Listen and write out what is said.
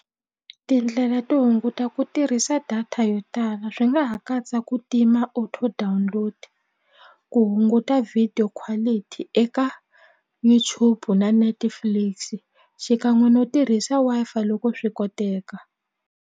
Tindlela to hunguta ku tirhisa data yo tala swi nga ha katsa ku tima auto download ku hunguta video quality eka YouTube na Netflix xikan'we no tirhisa Wi-Fi loko swi koteka.